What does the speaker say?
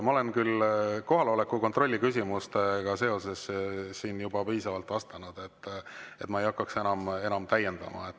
Ma olen kohaloleku kontrolli küsimustega seoses siin juba piisavalt vastanud, nii et ma ei hakka enam täiendama.